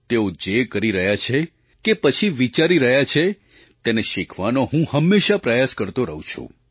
તેઓ જે કરી રહ્યા છે કે પછી વિચારી રહ્યા છે તેને શીખવાનો હું હંમેશાં પ્રયાસ કરતો રહું છું